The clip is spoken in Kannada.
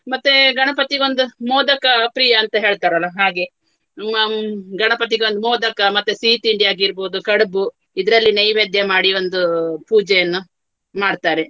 ಮತ್ತೆ ಗಣಪತಿಗೊಂದು ಮೋದಕ ಅಹ್ ಪ್ರಿಯ ಅಂತ ಹೇಳ್ತಾರಲ ಹಾಗೆ. ಹ್ಮ್ ಗಣಪತಿಗೊಂದು ಮೋದಕ ಮತ್ತೆ ಸಿಹಿತಿಂಡಿಯಾಗಿರ್ಬಹುದು ಕಡ್ಬು ಇದರಲ್ಲಿ ನೈವೇದ್ಯ ಮಾಡಿ ಒಂದು ಪೂಜೆಯನ್ನು ಮಾಡ್ತಾರೆ.